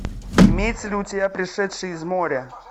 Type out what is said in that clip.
имеется ли у тебя пришедший из моря